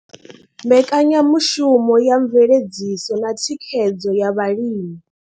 Mbekanyamushumo ya mveledziso na thikhedzo ya vhalimi.